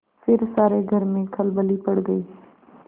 फिर सारे घर में खलबली पड़ गयी